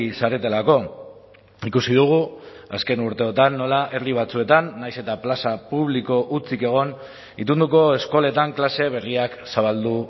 zaretelako ikusi dugu azken urteotan nola herri batzuetan nahiz eta plaza publiko hutsik egon itunduko eskoletan klase berriak zabaldu